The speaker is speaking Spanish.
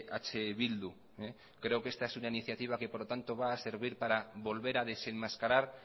eh bildu creo que esta es una iniciativa que va a servir para volver a desenmascarar